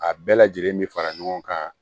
A bɛɛ lajɛlen bi fara ɲɔgɔn kan